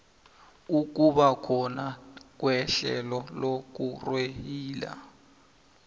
ukubakhona kwehlelo lokurweyila